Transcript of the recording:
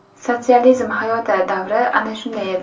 Sotsializm hayoti, davri ana shunday edi.